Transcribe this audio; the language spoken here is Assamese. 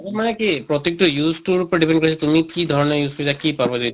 মানে কি প্ৰত্য়েক টো use তোৰ ওপৰত depend তুমি কি ধৰণে use কৰিছা কি